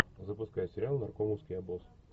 запускай сериал наркомовский обоз